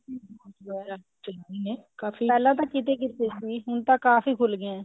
ਚੱਲੇ ਨੇ ਕਾਫੀ ਪਹਿਲਾਂ ਤਾਂ ਕਿਤੇ ਕਿਤੇ ਸੀ ਹੁਣ ਕਾਫੀ ਖੁੱਲ ਗਏ ਹੈ